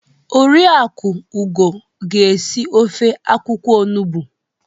Oriakụ Ugo ga esi ofe akwukwo onugbo.